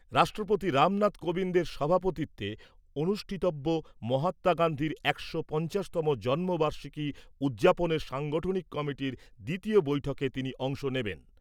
রাষ্ট্রপতি রামনাথ কোবিন্দের সভাপতিত্বে অনুষ্ঠিতব্য মহাত্মা গান্ধীর একশো পঞ্চাশতম জন্ম বার্ষিকী উদযাপনের সাংগঠনিক কমিটির দ্বিতীয় বৈঠকে তিনি অংশ নেবেন।